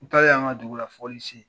N taalen an ka dugu la